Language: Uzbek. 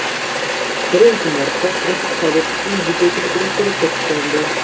Birinchi marta Rashid Xoliqovning video klipida suratga tushgandi.